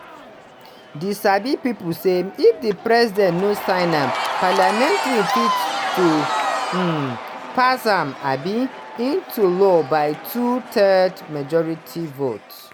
tdi sabi pipo say if di president no sign am parliament fit to um pass am um into law by two-thirds majority vote.